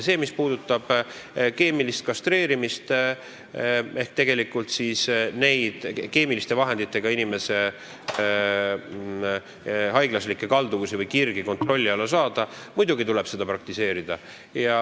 Mis puudutab keemilist kastreerimist ehk tegelikult keemiliste vahenditega inimese haiglaslike kalduvuste või kirgede kontrolli alla saamist, siis muidugi tuleb seda praktiseerida.